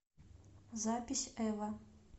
запись эва